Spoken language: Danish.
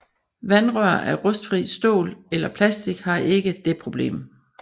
Vandrør af rustfrit stål eller plastik har ikke det problem